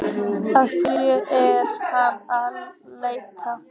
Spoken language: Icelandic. Að hverju er hann að leita?